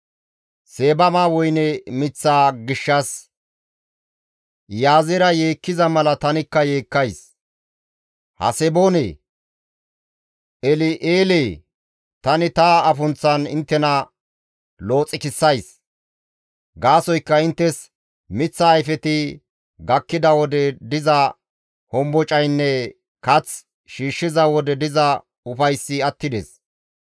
Seebama woyne miththaa gishshas Iyaazeera yeekkiza mala tanikka yeekkays; Haseboonee! El7eelee! Tani ta afunththan inttena looxikissays. Gaasoykka inttes miththa ayfeti gakkida wode diza hombocaynne kath shiishshiza wode diza ufayssi attides.